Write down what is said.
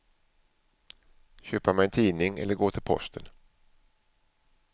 Köpa mig en tidning eller gå till posten.